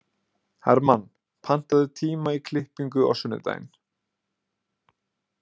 Hermann, pantaðu tíma í klippingu á sunnudaginn.